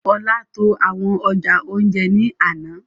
Ọlá tó àwọn ọjà ounjẹ ní àna